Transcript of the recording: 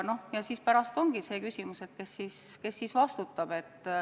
Ja siis ongi küsimus, kes vastutab.